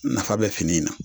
Nafa bɛ fini in na